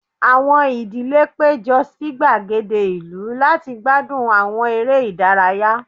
Awọn idile pejọ si gbagede ilu lati gbadun awọn ere idaraya